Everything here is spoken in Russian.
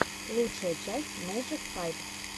лучшая часть мэджик файв